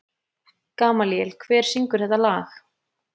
Gamalíel, hver syngur þetta lag?